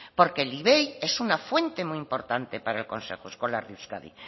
porque el ivei es una fuente muy importante para el consejo escolar de euskadi